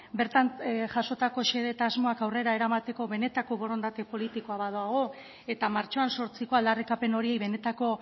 bertan jasotako xede eta asmoak aurrera eramateko benetako borondate politikoa badago eta martxoan zortziko aldarrikapen horiei benetako